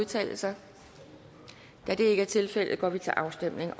udtale sig da det ikke er tilfældet går vi til afstemning